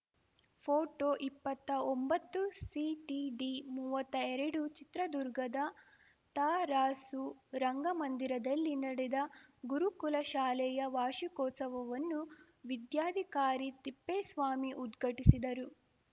photo ಇಪ್ಪತ್ತಾ ಒಂಬತ್ತುಸಿಟಿಡಿಮೂವತ್ತಾ ಎರಡು ಚಿತ್ರದುರ್ಗದ ತರಾಸು ರಂಗಮಂದಿರದಲ್ಲಿ ನಡೆದ ಗುರುಕುಲ ಶಾಲೆಯ ವಾರ್ಷಿಕೋತ್ಸವವನ್ನು ವಿದ್ಯಾಧಿಕಾರಿ ತಿಪ್ಪೇಸ್ವಾಮಿ ಉದ್ಘಟಿಸಿದರು